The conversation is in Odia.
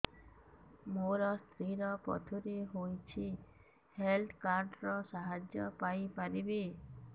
ମୋ ସ୍ତ୍ରୀ ର ପଥୁରୀ ହେଇଚି ହେଲ୍ଥ କାର୍ଡ ର ସାହାଯ୍ୟ ପାଇପାରିବି